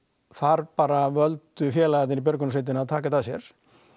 þar bara völdu félagarnir í björgunarsveitinni að taka þetta að sér